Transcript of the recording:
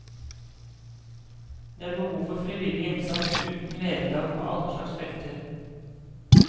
Det er behov for frivillig innsats uten vederlag på alle slags felter.